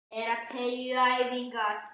Ég vil ekki vera skilin útundan.